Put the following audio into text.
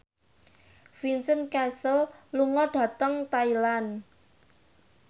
Vincent Cassel lunga dhateng Thailand